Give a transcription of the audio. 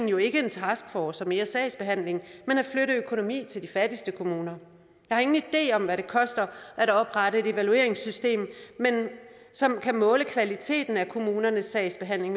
jo ikke en taskforce og mere sagsbehandling men at flytte økonomi til de fattigste kommuner jeg har ingen idé om hvad det koster at oprette et evalueringssystem som kan måle kvaliteten af kommunernes sagsbehandling